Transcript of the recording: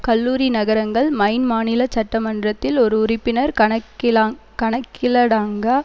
கல்லூரி நகரங்கள் மைன் மாநில சட்ட மன்றத்தில் ஒரு உறுப்பினர் கணக்கிலாங் கணக்கிலடாங்க